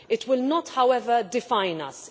It will not however define us.